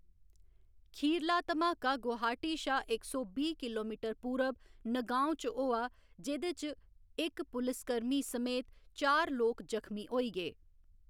खीरला धमाका गुवाहाटी शा इक सौ बीह्‌ किलोमीटर पूरब नगाँव च होआ, जेह्‌‌‌दे च इक पुलिसकर्मी समेत चार लोक जख्मी होई गे।